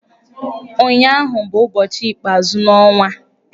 Ụnyụahụ bụ ụbọchị ikpeazụ n'ọnwa.